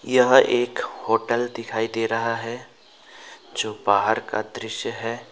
यह एक होटल दिखाई दे रहा है जो बाहर का दृश्य है।